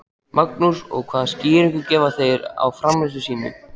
Magnús: Og hvaða skýringu gefa þeir á framferði sínu?